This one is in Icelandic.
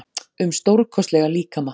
um stórkostlega líkama.